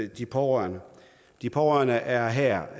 de pårørende de pårørende er her